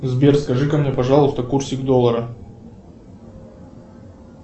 сбер скажи ка мне пожалуйста курсик доллара